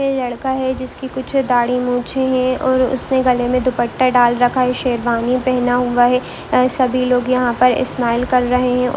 ये लड़का है जिसका कुछ दाढ़ी मूछें हैं और उसने गले मे दुपट्टा डाल रखा है शेरवानी पहना हुआ है अ सभी लोग यहाँ पर स्माइल कर रहें हैं और --